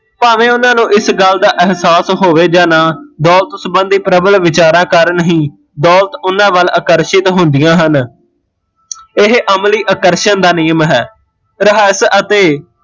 ਭਾਂਵੇ ਉਹਨਾਂ ਨੂ ਇਸ ਗੱਲ ਦਾ ਅਹਸਾਸ ਹੋਵੇ ਜਾਂ ਨਾ ਦੋਲਤ ਸਬੰਧੀ ਪ੍ਰਬਲ ਵਿਚਾਰ ਕਾਰਣ ਹੀਂ ਦੋਲਤ ਉਹਨਾਂ ਵੱਲ ਆਕਰਸ਼ਿਤ ਹੁੰਦੀਆ ਹਨ ਇਹ ਅਮਲੀ ਆਕਰਸ਼ਣ ਦਾ ਨਿਯਮ ਹੈ